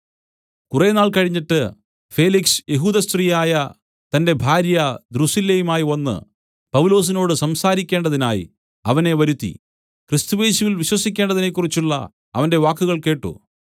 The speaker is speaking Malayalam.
കുറേനാൾ കഴിഞ്ഞിട്ട് ഫേലിക്സ് യെഹൂദ സ്ത്രീയായ തന്റെ ഭാര്യ ദ്രുസില്ലയുമായി വന്ന് പൗലൊസിനോട് സംസാരിക്കേണ്ടതിനായി അവനെ വരുത്തി ക്രിസ്തുയേശുവിൽ വിശ്വസിക്കേണ്ടതിനെക്കുറിച്ചുള്ള അവന്റെ വാക്കുകൾ കേട്ട്